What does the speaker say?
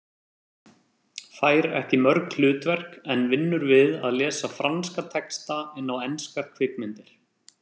Fær ekki mörg hlutverk en vinnur við að lesa franska texta inn á enskar kvikmyndir.